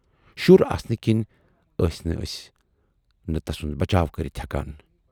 شُر آسنہٕ کِنۍ ٲسۍ نہٕ ٲسۍ نہٕ تَسُند بچاو کٔرِتھ ہٮ۪کان۔